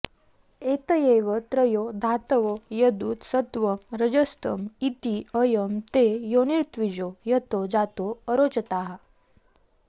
एतयैव त्रयो धातवो यदुत सत्त्वं रजस्तम इति अयं ते योनिरृत्विजो यतो जातो अरोचथाः